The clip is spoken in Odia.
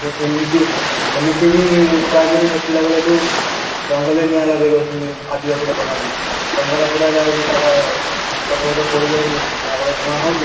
ସେମିତି, ସେମିତି ବି ଖରାଦିନେ ଦେଖିଲା ବେଳକୁ ଜଙ୍ଗଲ ରେ ନିଆଁ ଲଗେଇଦେଉଛନ୍ତି ଆଦିବାସୀ ଲୋକ ମାନେ ଜଙ୍ଗଲ ପୁରା ଜଳୁଛି ତା'ର ଗଛ ଫଛ ପୋଡିଯାଉଛି ଯାହାଫଳରେ ଧୂଆଁ ହଉଛି